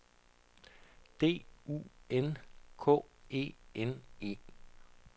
D U N K E N E